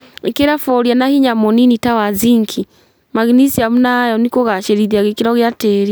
Ĩkĩra boria na hinya mũnini ta wa zinki, magnisiamu na iron kũgacĩrithia gĩkĩro gĩa tĩri